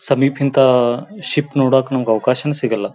ಸಮೀಪಹಿಂತ ship ನೋಡಕ್ಕು ನಮ್ಮಗ್ ಅವಕಾಶ ಸಿಗಲ್ಲಾ.